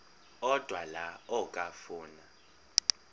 odwa la okafuna